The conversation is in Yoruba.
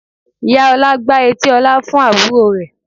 Ìyá Ọlá gbá etí Ọlá fún àbúrò rẹ̀